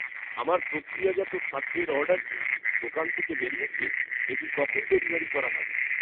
আমার প্রক্রিয়াজাত খাদ্যের অর্ডার কি দোকান থেকে বেরিয়েছে? এটি কখন ডেলিভারি করা হবে?